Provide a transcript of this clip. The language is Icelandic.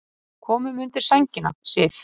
Komum undir sængina, Sif.